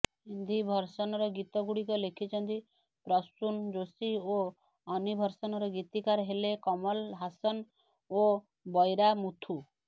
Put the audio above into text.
ହିନ୍ଦୀ ଭର୍ସନର ଗୀତଗୁଡ଼ିକ ଲେଖିଛନ୍ତି ପ୍ରସୁନ୍ ଯୋଶୀ ଓ ଅନୀଭର୍ସନର ଗୀତିକାର ହେଲେ କମଲ ହାସନ ଓ ବୈରାମୁଥୁ